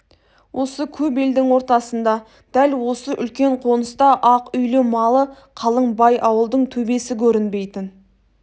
осы көп елдің ортасында дәл осы үлкен қоныста ақ үйлі малы қалың бай ауылдың төбесі көрінбейтін